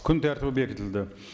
күн тәртібі бекітілді